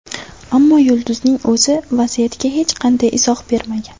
Ammo yulduzning o‘zi vaziyatga hech qanday izoh bermagan.